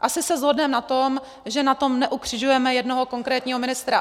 Asi se shodneme na tom, že na tom neukřižujeme jednoho konkrétního ministra.